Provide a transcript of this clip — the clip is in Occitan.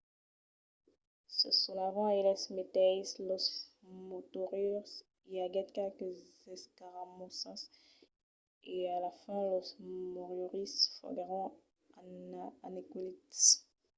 se sonavan eles meteisses los moriòris i aguèt qualques escaramossas e a la fin los moriòris foguèron anequelits